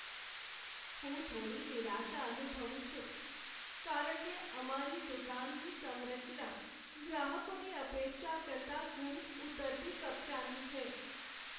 હું થોડી નિરાશા અનુભવું છું કારણ કે અમારી દુકાનની સંરચના ગ્રાહકોની અપેક્ષા કરતાં ઘણી ઊતરતી કક્ષાની છે.